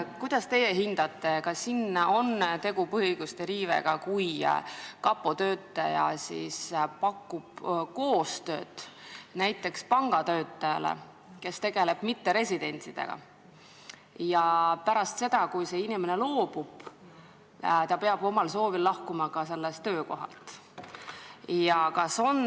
Kuidas teie hindate, kas siin on tegu põhiõiguste riivega, kui kapo töötaja pakub koostööd näiteks pangatöötajale, kes tegeleb mitteresidentidega, ja pärast seda, kui see inimene on koostööst loobunud, peab ta omal soovil sellelt töökohalt lahkuma?